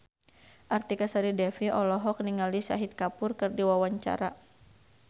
Artika Sari Devi olohok ningali Shahid Kapoor keur diwawancara